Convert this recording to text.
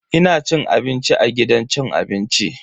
Ina cin abinci a gidan cin abinci.